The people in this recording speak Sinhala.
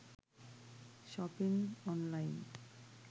shopping online